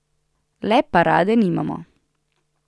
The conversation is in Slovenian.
Le parade nimamo.